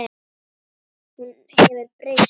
Hún hefur breyst.